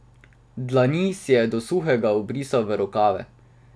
Dlani si je do suhega obrisal v rokave.